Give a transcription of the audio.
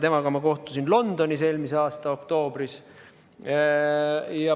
Temaga kohtusin Londonis eelmise aasta oktoobris.